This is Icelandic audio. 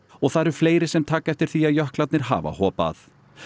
og það eru fleiri sem taka eftir því að jöklarnir hafa hopað